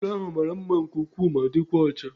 Ụlọ ahụ mara mma nke ukwuu ma dịkwa ọcha